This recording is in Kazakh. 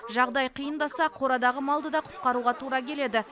жағдай қиындаса қорадағы малды да құтқаруға тура келеді